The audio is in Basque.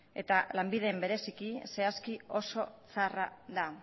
eta lanbiden bereziki zehazki oso txarra da